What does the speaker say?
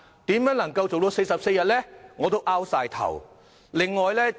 如何能夠在44天內做得到呢？